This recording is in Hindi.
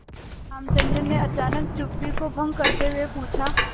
रामचंद्र ने अचानक चुप्पी को भंग करते हुए पूछा